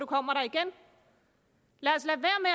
kommer der igen lad